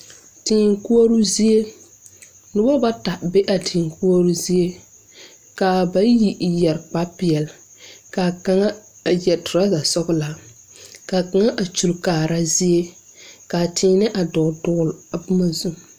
Tēē koɔroo zie nobo bata be a tēē koɔrɔɔ zie kaa bayi yɛre kparepeɛl kaa kaŋa a yɛre trɔza sɔglaa kaa kaŋa a kyule kaara zie kaa tēēnɛɛ a dɔɔle dɔɔle a boma zu.